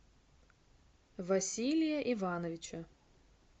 василия ивановича